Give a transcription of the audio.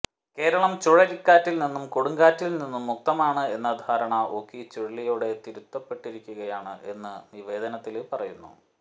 കേരളം ചുഴലിക്കാറ്റില്നിന്നും കൊടുങ്കാറ്റില്നിന്നും മുക്തമാണ് എന്ന ധാരണ ഓഖി ചുഴലിയോടെ തിരുത്തപ്പെട്ടിരിക്കുകയാണ് എന്ന് നിവേദനത്തില് പറയുന്നു